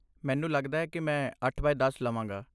ਮੈਨੂੰ ਲੱਗਦਾ ਹੈ ਕੀ ਮੈਂ ਅੱਠ ਬਾਏ ਦਸ ਲਵਾਂਗਾ